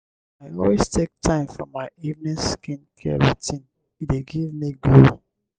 i always take time for my evening skincare routine e dey give me glow.